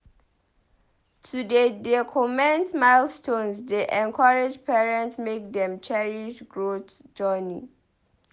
To dey document milestones dey encourage parents make dem cherish growth journey.